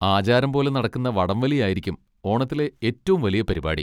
ആചാരം പോലെ നടക്കുന്ന വടംവലിയായിരിക്കും ഓണത്തിലെ ഏറ്റവും വലിയ പരിപാടി.